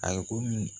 A ye ko mi